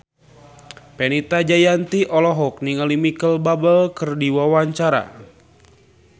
Fenita Jayanti olohok ningali Micheal Bubble keur diwawancara